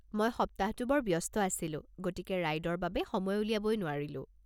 মই সপ্তাহটো বৰ ব্যস্ত আছিলোঁ, গতিকে ৰাইডৰ বাবে সময় উলিয়াব নোৱাৰিলো।